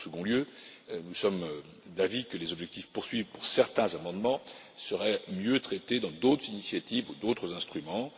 En second lieu, nous sommes d'avis que les objectifs poursuivis par certains amendements seraient mieux traités dans le cadre d'autres initiatives ou d'autres instruments.